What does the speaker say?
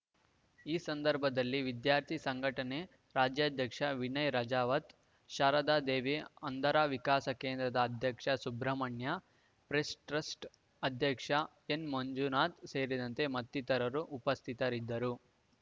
ಈ ಸಂದರ್ಭದಲ್ಲಿ ವಿದ್ಯಾರ್ಥಿ ಸಂಘಟನೆ ರಾಜ್ಯಾಧ್ಯಕ್ಷ ವಿನಯ್‌ ರಾಜಾವತ್‌ ಶಾರದಾ ದೇವಿ ಅಂಧರ ವಿಕಾಸ ಕೇಂದ್ರದ ಅಧ್ಯಕ್ಷ ಸುಬ್ರಹ್ಮಣ್ಯ ಪ್ರೆಸ್‌ಟ್ರಸ್ಟ್‌ ಅಧ್ಯಕ್ಷ ಎನ್‌ಮಂಜುನಾಥ್‌ ಸೇರಿದಂತೆ ಮತ್ತಿತರರು ಉಪಸ್ಥಿತರಿದ್ದರು